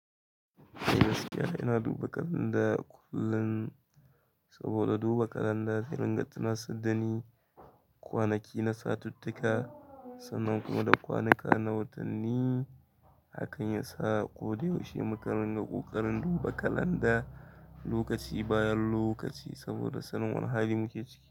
Eh gaskiya, ina duba kalanda kullum saboda duba kalanda zai ranga tuna saddani, kwanaki na satuttuka sannan kuma da kwanika na watanni. Hakan yasa ko da yaushe muka ringa ƙoƙarin duba kalanda lokaci bayan lokaci saboda sanin wane hali muke ciki.